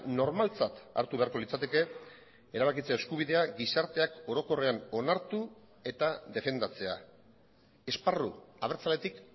normaltzat hartu beharko litzateke erabakitzea eskubidea gizarteak orokorrean onartu eta defendatzea esparru abertzaletik